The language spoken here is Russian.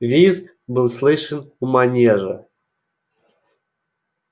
визг был слышен у манежа